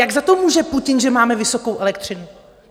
Jak za to může Putin, že máme vysokou elektřinu?